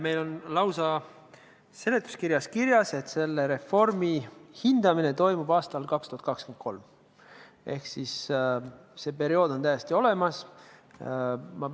Meil on lausa seletuskirjas kirjas, et selle reformi hindamine toimub aastal 2023, ehk see periood on täiesti olemas.